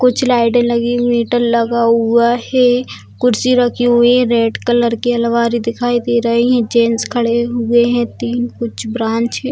कुछ लाइटें लगी हुई हैं हिटर लगा हुआ है कुर्सी रखी हुई हैं रेड कलर की अलमारी दिखाई दे रही जेंट्स खड़े हुए हैं तीन कुछ ब्रांच है।